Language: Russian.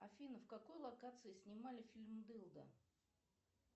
афина в какой локации снимали фильм дылда